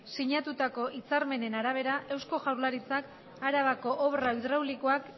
sinatutako hitzarmenen arabera eusko jaurlaritzak arabako obra hidraulikoak